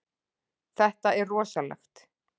Þetta er rosalegt.